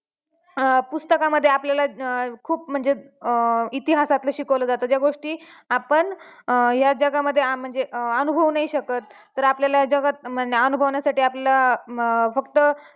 अं पुस्तकामद्धे आपल्याला अं खूप म्हणजे इतिहासातलं शिकवलं जातं जय गोष्टी आपण या जगामध्ये म्हणजे अनुभवू नाही शकत तर आपल्याला या जगात अनुभवण्यासाठी आपल्याला फक्त